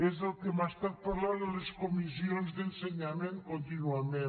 és el que hem estat parlant en les comissions d’ensenyament contínuament